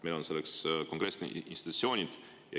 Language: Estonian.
Meil on selleks konkreetsed institutsioonid.